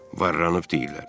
Varlanmısan deyirlər.